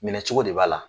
Minɛ cogo de b'a la